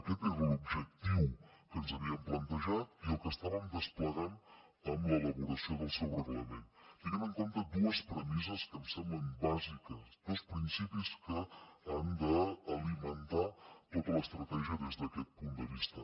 aquest era l’objectiu que ens havíem plantejat i el que estàvem desplegant amb l’elaboració del seu reglament tenint en compte dues premisses que em semblen bàsiques dos principis que han d’alimentar tota l’estratègia des d’aquest punt de vista